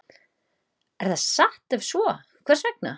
Er það satt og ef svo, hvers vegna?